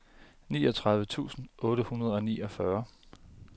niogtredive tusind otte hundrede og niogfyrre